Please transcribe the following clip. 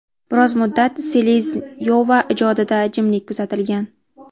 Biroz muddat Seleznyova ijodida jimlik kuzatilgan.